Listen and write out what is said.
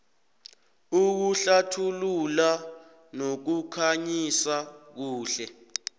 ukuhlathulula nokukhanyisa kuhle